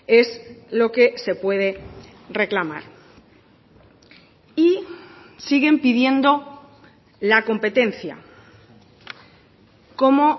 es lo que se puede reclamar y siguen pidiendo la competencia como